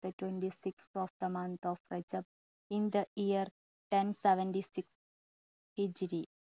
twenty sixth of the month of sep in the year ten seventy six